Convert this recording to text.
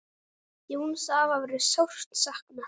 Jóns afa verður sárt saknað.